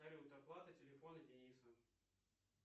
салют оплата телефона дениса